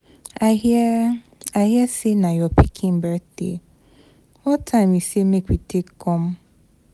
I hear I hear say na your pikin birthday, what time you say make we take come?